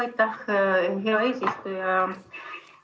Aitäh, hea eesistuja!